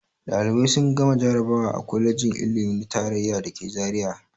Ɗalibai sun gama jarabawa a kwalejin ilimi ta tarayya da ke Zariya.